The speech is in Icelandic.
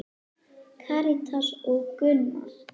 Karítas og Gunnar.